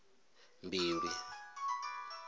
mbilwi